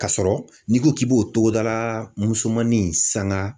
Ka sɔrɔ n'i ko k'i b'o togodala musonin in sanga.